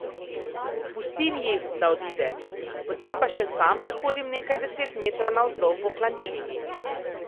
Pustim ji, da odide, potem pa še sam prehodim nekaj deset metrov navzdol po klančini.